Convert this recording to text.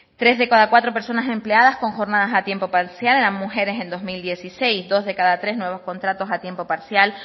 tres de casa cuatro persona empleadas con jornadas a tiempo parcial eran mujeres en dos mil dieciséis dos de cada tres nuevos contratos a tiempo parcial